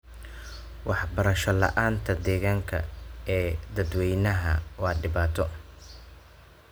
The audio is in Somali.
Waxbarasho la'aanta deegaanka ee dadwaynaha waa dhibaato.